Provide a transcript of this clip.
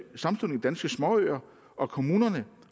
danske småøer og kommunerne